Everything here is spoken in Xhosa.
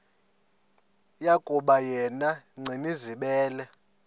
yokuba yena gcinizibele